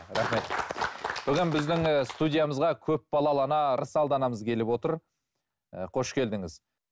рахмет бүгін біздің ііі студиямызға көп балалы ана ырысалды анамыз келіп отыр і қош келдіңіз